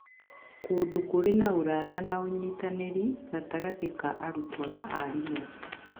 Kũndũ kũrĩ na ũrata na ũnyitanĩri gatagatĩ ka arutwo na arimũ